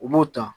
U b'u ta